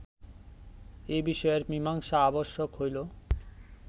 এ বিষয়ের মীমাংসা আবশ্যক হইল